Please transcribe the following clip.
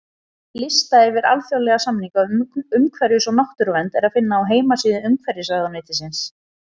Lista yfir alþjóðlega samninga um umhverfis- og náttúruvernd er að finna á heimasíðu Umhverfisráðuneytisins.